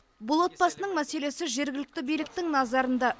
бұл отбасының мәселесі жергілікті биліктің назарында